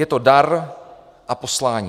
Je to dar a poslání.